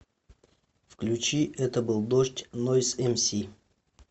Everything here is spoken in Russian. включи это был дождь нойз эмси